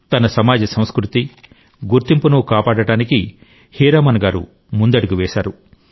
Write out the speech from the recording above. తన సమాజ సంస్కృతి గుర్తింపును కాపాడడానికి హీరామన్ గారు ముందడుగు వేశారు